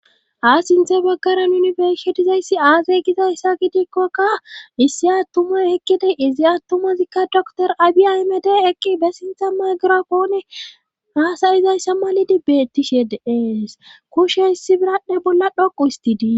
A sinthe baggaran yunifersetizayssi aazay gizayssa gidikkokka issi attumay ekkidey izi attumazikka dr abiaimed eqqi be sintha maygirafoone haasayizayssa malidi bettishe deees kushe issi biradhdhe bolla dhoqu histidii.